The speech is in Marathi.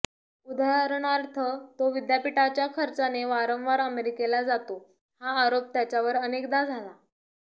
उदाहरणार्थ तो विद्यापीठाच्या खर्चाने वारंवार अमेरिकेला जातो हा आरोप त्याच्यावर अनेकदा झाला